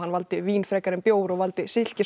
valdi vín frekar en bjór og valdi